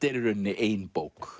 er í rauninni ein bók